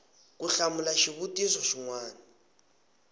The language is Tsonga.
ku hlamula xivutiso xin wana